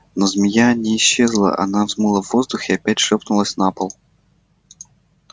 но змея не исчезла она взмыла в воздух и опять шлёпнулась на пол